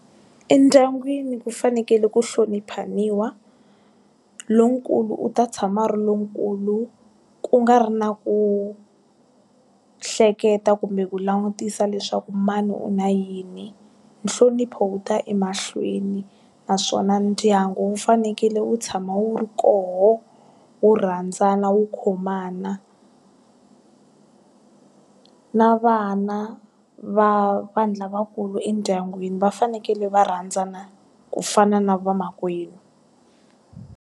Endyangwini ku fanekele ku hloniphaniwa. Lonkulu u ta tshama a ri lonkulu, ku nga ri na ku, hleketa kumbe ku langutisa leswaku mani u na yini. Nhlonipho wu ta emahlweni, naswona ndyangu wu fanekele wu tshama wu ri koho, wu rhandzana wu khomana. Na vana va vanhu lavakulu endyangwini va fanekele va rhandzana ku fana na vamakwenu.